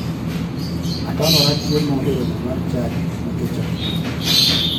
Atamora chiemo e romo mar chadi nikech atuo.